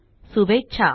शुभेच्छा